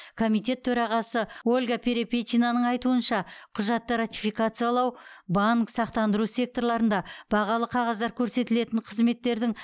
комитет төрағасы ольга перепечинаның айтуынша құжатты ратификациялау банк сақтандыру секторларында бағалы қағаздар көрсетілетін қызметтердің